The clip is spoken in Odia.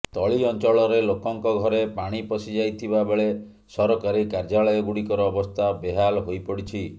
ତଳି ଅଞ୍ଚଳରେ ଲୋକଙ୍କ ଘରେ ପାଣି ପଶିଯାଇଥିବା ବେଳେ ସରକାରୀ କାର୍ଯ୍ୟାଳୟଗୁଡ଼ିକର ଅବସ୍ଥା ବେହାଲ୍ ହୋଇପଡିଛି